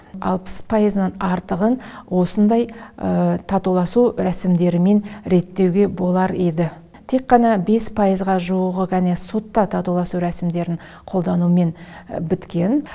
алпыс пайызынан артығын осындай татуласу рәсімдерімен реттеуге болар еді тек қана бес пайызға жуығы гәне сотта татуласу рәсімдерін қолданумен біткен